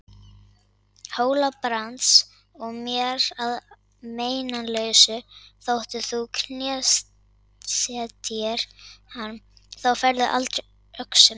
Hóla-Brands og mér að meinalausu þótt þú knésetjir hann, þá færðu aldrei öxina.